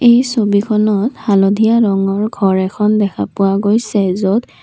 এই ছবিখনত হালধীয়া ৰঙৰ ঘৰ এখন দেখা পোৱা গৈছে য'ত--